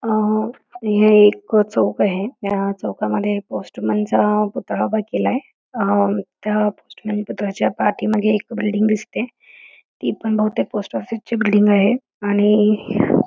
हे एक चौक आहे ह्या चौकामध्ये पोस्टमनचा पुतळा उभा आहे त्या पोस्टमन च्या पाठीमागे बिल्डिंग दिसते ती बहुतेक पोस्ट ऑफिस ची बिल्डिंग आहे आणि--